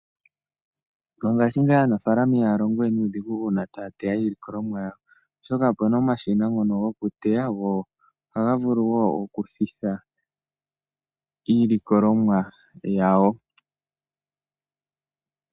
Mongashingeyi aanampapya ihaya longo we nuudhigu uuna taya iilikolomwa yawo. Opuna omashina ngoka gokuteya, osho wo okuthitha iilikolomwa yawo.